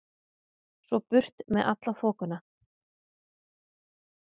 Svo burt með alla þoku.